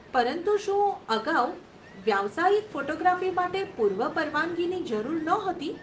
પરંતુ શું અગાઉ વ્યાવસાયિક ફોટોગ્રાફી માટે પૂર્વ પરવાનગીની જરૂર નહોતી?